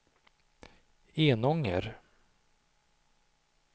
Enånger